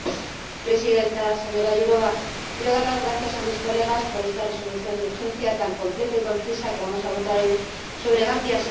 Señora Presidenta, señora Jourová, quiero dar las gracias a mis colegas por esta Resolución de urgencia tan completa y concisa que vamos a votar hoy sobre Gambia.